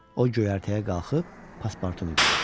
O göyərtəyə qalxıb Paspartunu gördü.